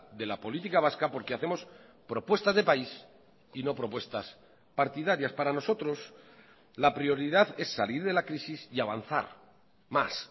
de la política vasca porque hacemos propuestas de país y no propuestas partidarias para nosotros la prioridad es salir de la crisis y avanzar más